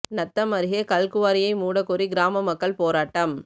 நத்தம் அருகே கல்குவாரியை மூடக் கோரி கிராம மக்கள் போராட்டம்